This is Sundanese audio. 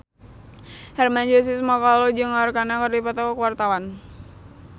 Hermann Josis Mokalu jeung Arkarna keur dipoto ku wartawan